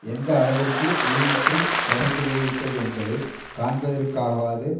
எந்த அளவிற்கு இழிவுற்று சரிந்து போய் விட்டது என்பதை காண்பதற்காகவாவது